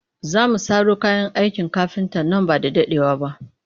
Za mu saro kayan aikin kafinta nan ba da daɗewa ba